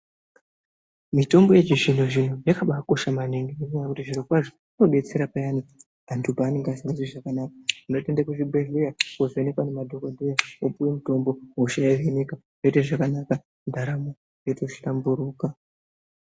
Mitombo yechizvinozvino yakabaakosha maningi ngenyaya yekuti zvirokwazvo inodetsera payani antu paanonga asingazwi zvakanaka. Antu otoende kuzvibhedhleya koovhenekwa ngemadhokodheya, opuwe mutombo hosha yohinika, yoite zvakanaka ndaramo yotohlamburuka .